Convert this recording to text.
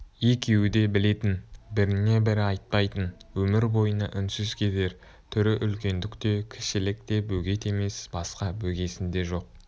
екеуі де білетін біріне бірі айтпайтын өмір бойына үнсіз кетер түрі үлкендік те кішілік те бөгет емес басқа бөгесін де жоқ